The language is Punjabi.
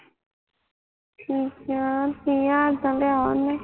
ਕੀ ਕਿਹਾ ਕੀ ਹਾਲ ਤਾਂ ਲਿਆ ਤਾਂ ਉਹਨੇ